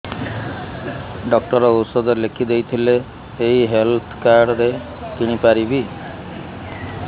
doctor ଔଷଧ ଲେଖିଦେଇଥିଲେ ଏଇ ହେଲ୍ଥ କାର୍ଡ ରେ କିଣିପାରିବି